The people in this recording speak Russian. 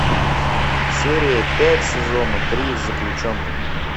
серия пять сезона три заключенный